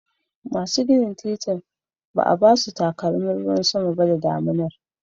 Masu ginin titi inda ba a ba su takalmin ruwan sama a lokacin damina